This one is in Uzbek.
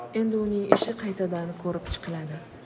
Endi uning ishi qaytadan ko‘rib chiqiladi.